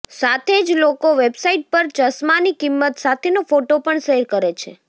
સાથે જ લોકો વેબસાઇટ પર ચશ્માની કિંમત સાથેનો ફોટ પણ શેર કરે છે